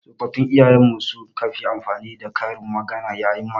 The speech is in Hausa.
Tsofaffin iyayen mu su ka fi amfani da karin magana. yayin magana.